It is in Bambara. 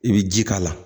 I bɛ ji k'a la